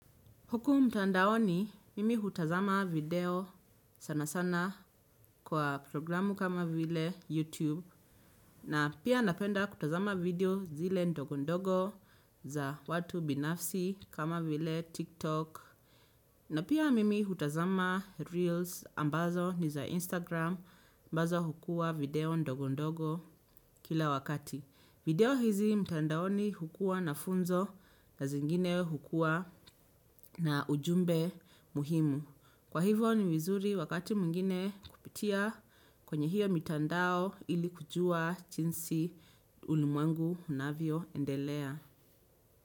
Huku mtandaoni, mimi hutazama video sana sana kwa programu kama vile YouTube na pia napenda kutazama video zile ndogo ndogo za watu binafsi kama vile TikTok na pia mimi hutazama reels ambazo ni za Instagram ambazo hukua video ndogo ndogo kila wakati. Video hizi mtandaoni hukua na funzo na zingine hukua na ujumbe muhimu. Kwa hivo ni vizuri wakati mwingine kupitia kwenye hiyo mitandao ili kujua chinsi ulimwengu unavyoendelea.